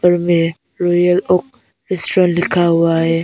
ऊपर में Royal Oak restaurant लिखा हुआ है।